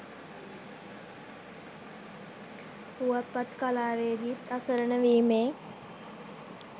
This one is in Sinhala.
පුවත්පත් කලාවේදීන් අසරණ වීමේ